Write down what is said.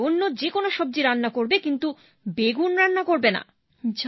কাল থেকে অন্য যে কোন সবজি রান্না করবে কিন্তু বেগুন রান্না করবে না